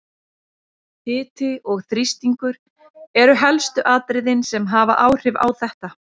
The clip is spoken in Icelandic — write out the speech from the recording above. Hiti og þrýstingur eru helstu atriðin sem hafa áhrif á þetta.